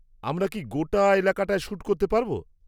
-আমরা কি গোটা এলাকাটায় শ্যুট করতে পারব?